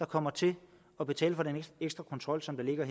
kommer til at betale for den ekstra kontrol som ligger